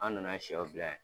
An na na sɛw bila yan.